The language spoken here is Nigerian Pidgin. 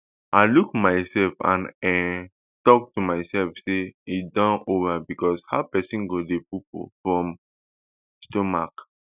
i look myself and i um tok to myself say e don over bicos how pesin go dey poopoo from stomach